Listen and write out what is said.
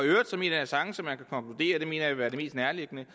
det mener jeg vil være det mest nærliggende